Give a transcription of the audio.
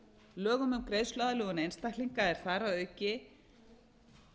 lögum um greiðsluaðlögun einstaklinga er þar að auki